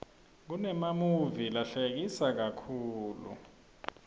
kunemamuvi lahlekisa kakhulu